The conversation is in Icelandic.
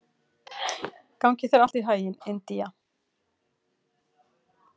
Gangi þér allt í haginn, Indía.